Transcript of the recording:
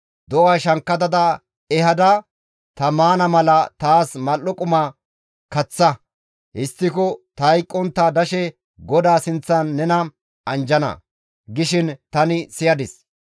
‹Do7a shankkata ehada ta maana mala taas mal7o quma kaththa; histtiko ta hayqqontta dashe GODAA sinththan nena anjjana› gishin tani siyadis.